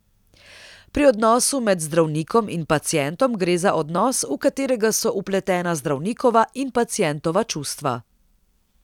Pri odnosu med zdravnikom in pacientom gre za odnos, v katerega so vpletena zdravnikova in pacientova čustva.